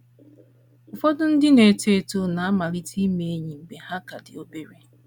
Ụfọdụ ndị na - eto eto na - amalite ime enyi mgbe ha ka dị obere.